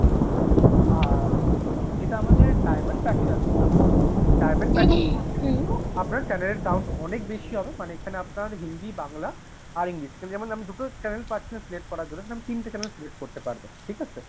আর যেটা আমাদের diamond package আছে ma'am diamond package এর মধ্যে কিন্তু আপনার channel এর count অনেক বেশি হবে মানে এই খানে আপনার হিন্দি, বাংলা, আর English যেমন আপনি দুটো channel পাচ্ছিলেন select করার জন্য এখানে আপনি তিনটে channel select করতে পারবেন। ঠিক আছে?